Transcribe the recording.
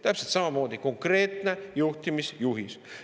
Täpselt samamoodi konkreetne juhtimisjuhis.